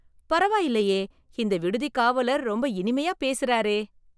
பரவாயில்லையே இந்த விடுதி காவலர் ரொம்ப இனிமையா பேசுறாரே